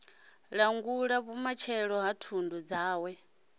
langulaho vhumatshelo ha thundu dzawe